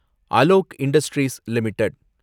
Alok industries limited